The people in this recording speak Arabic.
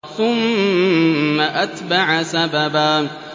ثُمَّ أَتْبَعَ سَبَبًا